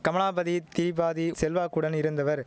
கமலாபதி தீபாதிஉ செல்வாக்குடன் இருந்தவர்